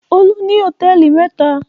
Olú ní hòtẹ́ẹ́lì mẹ́ta.